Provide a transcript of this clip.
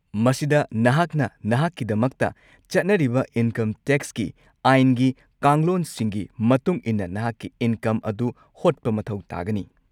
ꯃꯁꯤꯗ ꯅꯍꯥꯛꯅ ꯅꯍꯥꯛꯀꯤꯗꯃꯛꯇ ꯆꯠꯅꯔꯤꯕ ꯏꯟꯀꯝ ꯇꯦꯛꯁꯀꯤ ꯑꯥꯏꯟꯒꯤ ꯀꯥꯡꯂꯣꯟꯁꯤꯡꯒꯤ ꯃꯇꯨꯡ ꯏꯟꯅ ꯅꯍꯥꯛꯀꯤ ꯏꯟꯀꯝ ꯑꯗꯨ ꯍꯣꯠꯄ ꯃꯊꯧ ꯇꯥꯒꯅꯤ꯫